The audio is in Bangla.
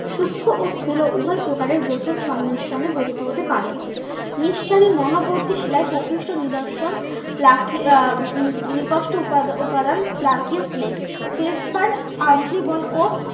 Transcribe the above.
সুক্ষ ও স্থুল উভয় প্রকারের গ্রথন সংমিশ্রনে গঠিত হতে পারে। নিঃসারী মহাবর্তী শিলায় প্রকৃষ্ট নিদর্শন আহ উপাদান প্ল্যাক্রিয় ও